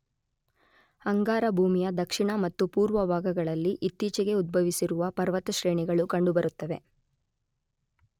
ಅಂಗಾರ ಭೂಮಿಯ ದಕ್ಷಿಣ ಮತ್ತು ಪುರ್ವ ಭಾಗಗಳಲ್ಲಿ ಇತ್ತೀಚೆಗೆ ಉದ್ಭವಿಸಿರುವ ಪರ್ವತಶ್ರೇಣಿಗಳು ಕಂಡುಬರುತ್ತವೆ.